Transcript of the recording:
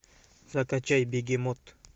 закачай бегемот